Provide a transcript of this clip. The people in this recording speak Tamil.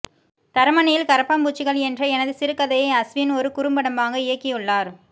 தரமணியில் கரப்பான்பூச்சிகள் என்ற எனது சிறுகதையை அஸ்வின் ஒரு குறும்படமாக இயக்கியுள்ளார்